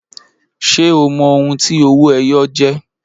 Ṣé o mọ ohun tí owó-ẹyọ jẹ́